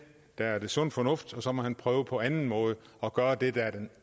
der er sund fornuft i og så må han prøve på anden måde at gøre det der er den